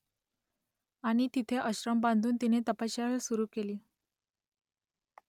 आणि तिथे आश्रम बांधून तिने तपश्चर्या सुरू केली